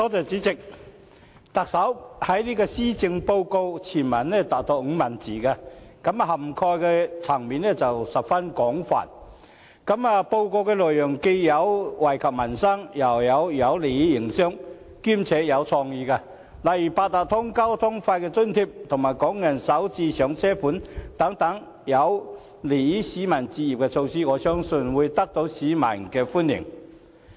主席，特首的施政報告全文長達5萬字，涵蓋層面十分廣泛，內容既有惠及民生，又有有利營商，兼且有創意，例如八達通交通費的津貼及"港人首置上車盤"等有利市民置業的措施，我相信會得到市民歡迎。